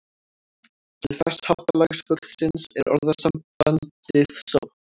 Til þessa háttalags fuglsins er orðasambandið sótt.